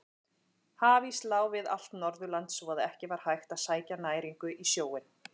Hafís lá við allt Norðurland svo að ekki var hægt að sækja næringu í sjóinn.